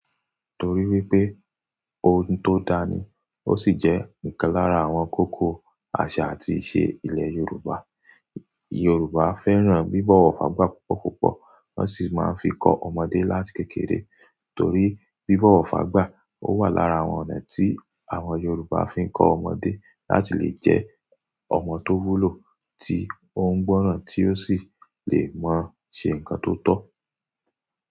Torí wípé ohun tó dání, ó sì jẹ́ ìkan lára àwọn kókó àṣà àti ìṣe ilẹ̀ Yorùbá. Yorùbá fẹ́ràn bíbọ̀wọ̀ fágbà púpọ̀ púpọ̀, wọ́n sì máa ń fi kọ́ ọmọdé láti kékeré. Torí bíbọ̀wọ̀ fágbà owà lára àwọn ọ̀nà tí àwọn Yorùbá fi ń kọ́ ọmọdé láti lè jẹ́ ọmọ tó wúlò, tí ó ń gbọ́ràn tí ó sì le mọ ṣe ǹkan tó tọ́